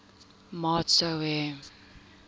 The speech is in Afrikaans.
maat sou hê